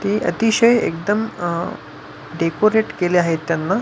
ते अतिशय एकदम अह डेकोरेट केले आहेत त्यांना--